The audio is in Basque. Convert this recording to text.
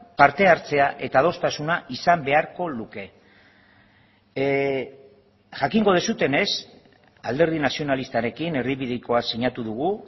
parte hartzea eta adostasuna izan beharko luke jakingo duzuenez alderdi nazionalistarekin erdibidekoa sinatu dugu